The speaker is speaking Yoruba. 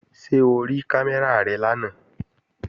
Ṣé o rí kámẹ́rà rẹ lánàá?